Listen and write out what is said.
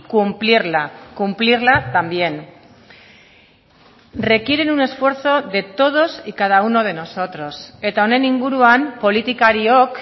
cumplirla cumplirla también requieren un esfuerzo de todos y cada uno de nosotros eta honen inguruan politikariok